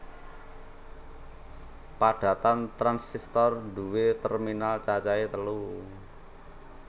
Padatan transistor nduwé terminal cacahe telu